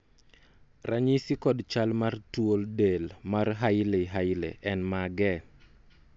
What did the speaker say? ranyisi kod chal mar tuo del mar hailey hailey en mage?